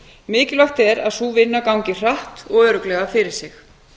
mikilvægt er að sú vinna gangi hratt og örugglega fyrir sig